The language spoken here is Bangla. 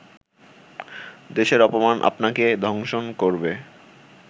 দেশের অপমান আপনাকে দংশন করবে